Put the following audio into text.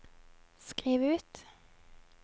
skriv ut